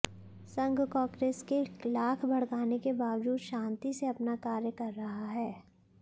संघ कांग्रेस के लाख भड़काने के बावजूद शांति से अपना कार्य कर रहा है